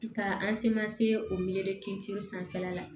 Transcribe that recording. Ka an semase o mee sanfɛla la